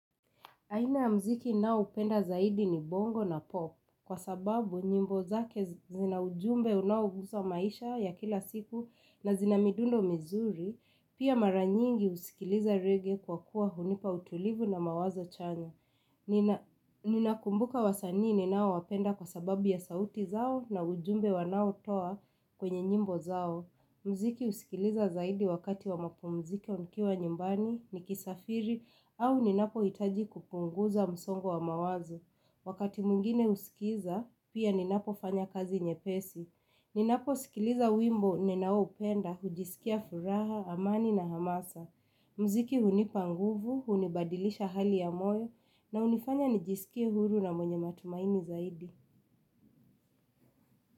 Aina ya mziki ninaoupenda zaidi ni bongo na popu kwa sababu nyimbo zake zina ujumbe unaogusa maisha ya kila siku na zina midundo mizuri, pia maranyingi husikiliza rege kwa kuwa hunipa utulivu na mawazo chanya. Ninakumbuka wasanii ninaowapenda kwa sababu ya sauti zao na ujumbe wanao toa kwenye nyimbo zao. Mziki husikiliza zaidi wakati wa mapumziko nikiwa nyumbani, nikisafiri, au ninapohitaji kupunguza msongo wa mawazo. Wakati mwingine husikiza, pia ninapo fanya kazi nyepesi. Ninaposikiliza wimbo, ninao upenda, hujisikia furaha, amani na hamasa. Mziki hunipanguvu, hunibadilisha hali ya moyo, na hunifanya nijisikie huru na mwenye matumaini zaidi.